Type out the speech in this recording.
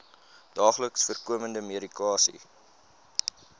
daagliks voorkomende medikasie